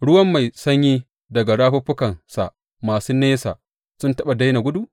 Ruwan mai sanyinsa daga rafuffukansa masu nesa sun taɓa daina gudu?